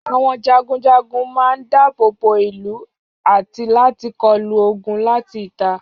Àwọn jagunjagun man dábòbó ìlú àti láti kọlu ogun láti ìta